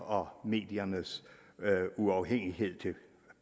og mediernes uafhængighed af